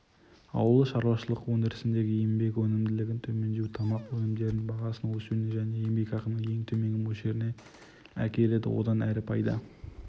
ауыл шаруашылық өндірісіндегі еңбек өнімділігінің төмендеуі тамақ өнімдері бағасының өсуіне және еңбекақының ең төменгі мөлшеріне әкеледі одан әрі пайда